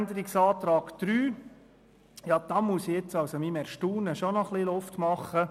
Zu Abänderungsantrag 3: Darüber muss ich mein Erstaunen ausdrücken.